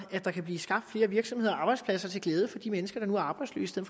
der kan blive skabt flere virksomheder og arbejdspladser til glæde for de mennesker der nu er arbejdsløse i